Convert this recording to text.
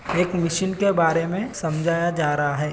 एक मिशन के बारे में समझाया जा रहा है।